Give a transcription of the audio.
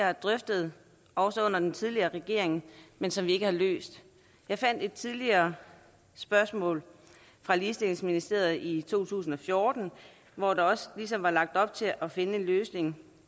har drøftet også under den tidligere regering men som vi ikke har løst jeg fandt et tidligere spørgsmål fra ligestillingsministeriet i to tusind og fjorten hvor der også ligesom var lagt op til at finde en løsning